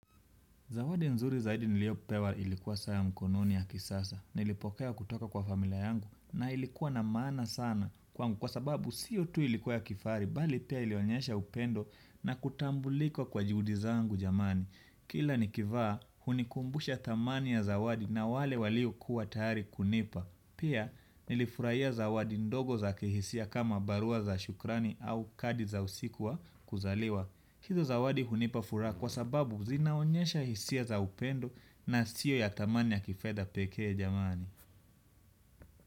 Zawadi nzuri zaidi niliyopewa ilikuwa saa ya mkononi ya kisasa, nilipokea kutoka kwa familia yangu na ilikuwa na maana sana kwangu kwa sababu siyo tu ilikuwa ya kifahari, bali pia ilionyesha upendo na kutambulika kwa juhudi zangu jamani. Kila nikivaa, hunikumbusha thamani ya zawadi na wale waliokuwa tayari kunipa. Pia nilifurahia zawadi ndogo za kihisia kama barua za shukrani au kadi za usiku wa kuzaliwa. Hizo zawadi hunipa furaha kwa sababu zinaonyesha hisia za upendo na sio ya thamani ya kifedha pekee jamani.